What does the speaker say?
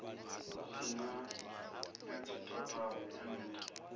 hu si na na tshitatamennde